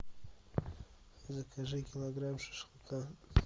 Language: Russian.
закажи килограмм шашлыка